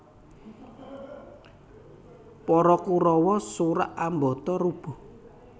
Para Kurawa surak ambata rubuh